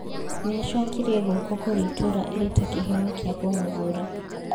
Nĩacokirie gũoko kũrĩ itũra ĩrĩ ta kĩheo kĩa kũmũthura